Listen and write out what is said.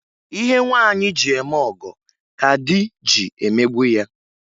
Ihe nwaanyị ji eme ọgọ ka di ji emegbu ya.